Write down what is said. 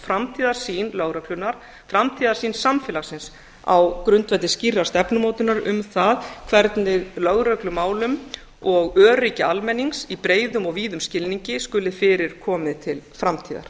framtíðarsýn lögreglunnar framtíðarsýn samfélagsins á grundvelli skýrrar stefnumótunar um það hvernig lögreglumálum og öryggi almennings í breiðum og víðum skilningi skuli fyrir komið til framtíðar